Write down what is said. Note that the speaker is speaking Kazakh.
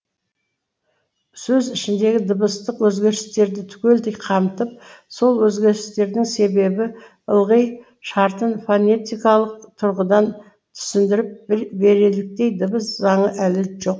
сөз ішіндегі дыбыстық өзгерістерді түгелдей қамтып сол өзгерістердің себебі алғы шартын фонетикалық тұрғыдан түсіндіріп береліктей дыбыс заңы әлі жоқ